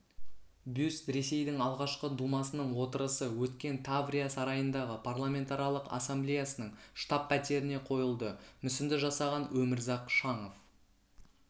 бюст ресейдің алғашқы думасының отырысы өткен таврия сарайындағы парламентаралық ассамблеясының штаб-пәтеріне қойылды мүсінді жасаған өмірзақ шаңов